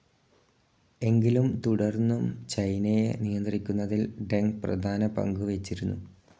എങ്കിലും തുടർന്നും ചൈനയെ നിയന്ത്രിക്കുന്നതിൽ ഡെങ് പ്രധാന പങ്കുവഹിച്ചിരുന്നു.